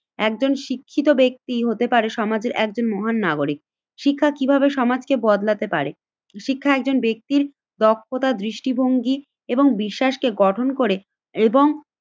একজন শিক্ষিত ব্যক্তি হতে পারে সমাজের একজন মহান নাগরিক। শিক্ষা কিভাবে সমাজকে বদলাতে পারে? শিক্ষা একজন ব্যক্তির দক্ষতা দৃষ্টিভঙ্গি এবং বিশ্বাসকে গঠন করে এবং